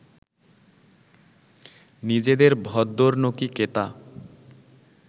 নিজেদের ভদ্দরনোকি কেতা